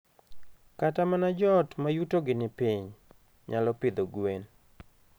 Kata mana joot ma yutogi ni piny, nyalo pidho gwen.